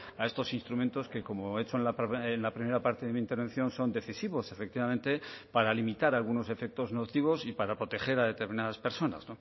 a estos instrumentos que como he hecho en la primera parte de mi intervención son decisivos efectivamente para limitar algunos efectos nocivos y para proteger a determinadas personas